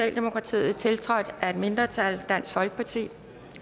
et mindretal tiltrådt af et mindretal